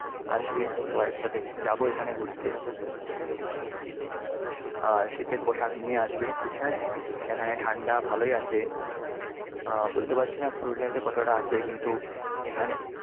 আসবে, সবাই একসাথে যাব এখানে ঘুরতে। ঠিক আছে? আর শীতের পোশাক নিয়ে আসবে। হ্যাঁ? এখানে ঠাণ্ডা ভালোই আছে। হ্যাঁ। বলতে পারছি না পুরুলিয়াতে কতটা আছে কিন্তু এখানে